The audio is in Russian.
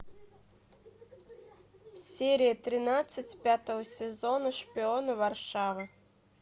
серия тринадцать пятого сезона шпионы варшавы